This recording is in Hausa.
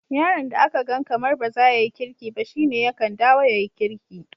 Yaron da aka gan kamar bazaya yi kirki ba, shine yakan dawo ya yi kirki.